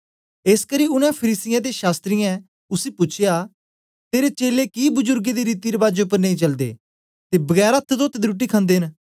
एसकरी उनै फरीसियें ते शास्त्रियें उसी पूछया तेरे चेलें कि बजुरगें दी रीति रबाजें उपर नेई चलदे ते बगैर अथ्थ तोते दे रुट्टी खन्दे न